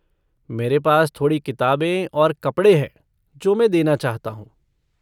मेरे पास थोड़ी किताबें और कपड़े हैं जो मैं देना चाहता हूँ।